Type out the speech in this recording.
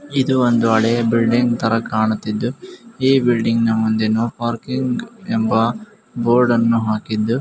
ಇದು ಒಂದು ಹಳೆ ಬಿಲ್ಡಿಂಗ್ ತರ ಕಾಣುತಿದ್ದು ಈ ಬಿಲ್ಡಿಂಗ್ ಮುಂದೆ ನೋ ಪಾರ್ಕಿಂಗ್ ಎಂಬ ಬೋರ್ಡ್ ಅನ್ನು ಹಾಕಿದ್ದು--